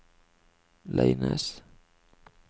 Leines